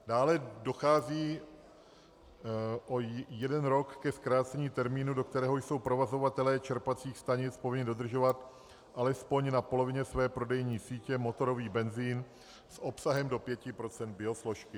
Dále dochází o jeden rok ke zkrácení termínu, do kterého jsou provozovatelé čerpacích stanic povinni dodržovat alespoň na polovině své prodejní sítě motorový benzin s obsahem do 5 % biosložky.